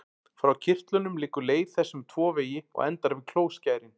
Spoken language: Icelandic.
Frá kirtlunum liggur leið þess um tvo vegi og endar við klóskærin.